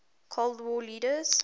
cold war leaders